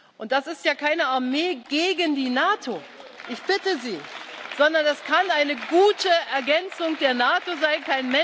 Und das ist ja keine Armee gegen die NATO ich bitte Sie sondern das kann eine gute Ergänzung der NATO sein.